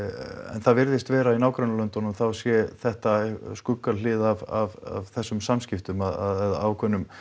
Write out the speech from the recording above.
það virðist vera í nágrannalöndunum þá sé þetta skuggahlið af þessum samskiptum að ákveðnum